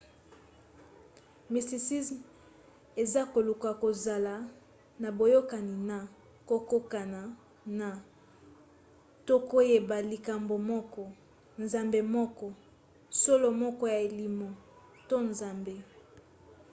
mysticisme eza koluka kozala na boyokani na kokokana na to koyeba likambo moko nzambe moko solo moko ya elimo to nzambe